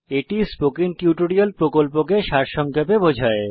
এটি spoken tutorial প্রকল্পকে সারসংক্ষেপে বোঝায়